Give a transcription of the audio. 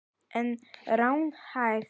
En er hún raunhæf?